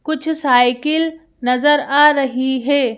कुछ साइकिल नजर आ रही है।